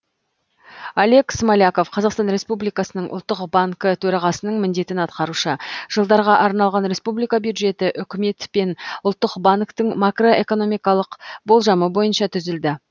олег смоляков қазақстан республикасының ұлттық банкі төрағасының міндетін атқарушы жылдарға арналған республика бюджеті үкімет пен ұлттық банктің макроэкономикалық болжамы бойынша түзілді